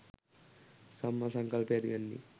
සම්මා සංකල්පය ඇති වෙන්නේ